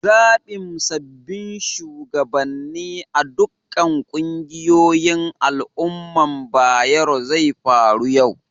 Zabin sabobin shugabane a'ɗukan ƙungiyoyin al umman Bayero zai faru yau.